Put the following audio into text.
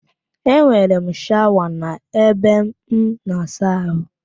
Enwere m shawa n'ebe m na-asa ahụ